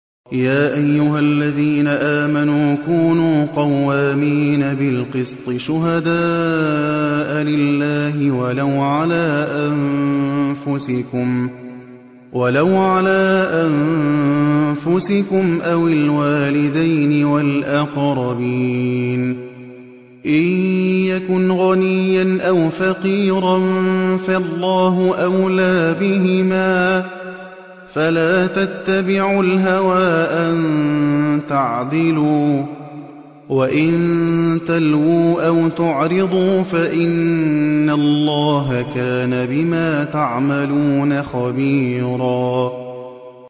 ۞ يَا أَيُّهَا الَّذِينَ آمَنُوا كُونُوا قَوَّامِينَ بِالْقِسْطِ شُهَدَاءَ لِلَّهِ وَلَوْ عَلَىٰ أَنفُسِكُمْ أَوِ الْوَالِدَيْنِ وَالْأَقْرَبِينَ ۚ إِن يَكُنْ غَنِيًّا أَوْ فَقِيرًا فَاللَّهُ أَوْلَىٰ بِهِمَا ۖ فَلَا تَتَّبِعُوا الْهَوَىٰ أَن تَعْدِلُوا ۚ وَإِن تَلْوُوا أَوْ تُعْرِضُوا فَإِنَّ اللَّهَ كَانَ بِمَا تَعْمَلُونَ خَبِيرًا